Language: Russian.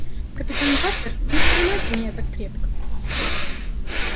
капитан батлер не прижимайте меня так крепко